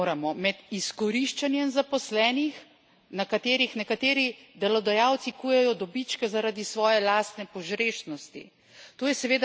Ločiti moramo med izkoriščanjem zaposlenih, na katerih nekateri delodajalci kujejo dobičke zaradi svoje lastne požrešnosti.